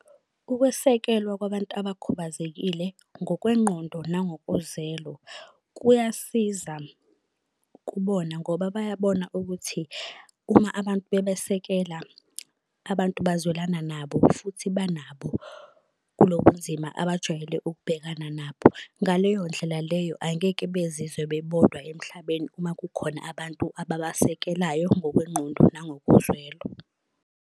Ukwesekelwa kwabantu abakhubazekile ngokwengqondo nangokozelo kuyasiza kubona ngoba bayabona ukuthi uma abantu bebesekela, abantu bazwelana nabo futhi banabo kulobu nzima abajwayele ukubhekana nabo. Ngaleyo ndlela leyo angeke bezizwe bebodwa emhlabeni uma kukhona abantu ababasekelayo ngokwengqondo nangokozwelo.